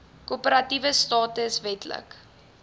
korporatiewe status wetlike